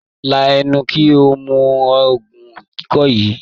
La ẹnu kí o mi oògùn ikọ́ yìí.